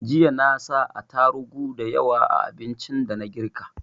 Jiya na sa atarugu dayawa a abincin da na girka